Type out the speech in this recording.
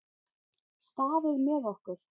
Staðið með okkur